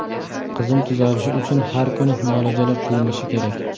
Qizim tuzalishi uchun har kuni muolajalar qilinishi kerak.